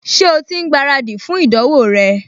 Ṣé o ti ń gbáradì fún ìdánwò rẹ?